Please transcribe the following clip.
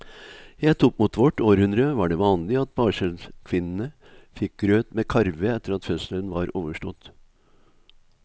Helt opp mot vårt århundre var det vanlig at barselkvinnene fikk grøt med karve etter at fødselen var overstått.